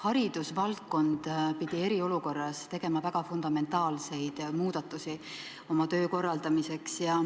Haridusvaldkond pidi eriolukorras tegema fundamentaalseid muudatusi oma töö korraldamiseks.